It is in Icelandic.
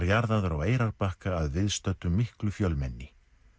jarðaður á Eyrarbakka að viðstöddu miklu fjölmenni